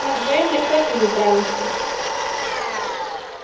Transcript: мы вдвоём легко с ним управимся